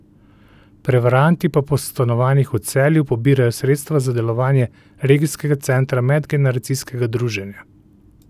Prevaranti pa po stanovanjih v Celju pobirajo sredstva za delovanje Regijskega centra medgeneracijskega druženja.